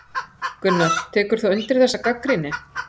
Gunnar: Tekur þú undir þessa gagnrýni?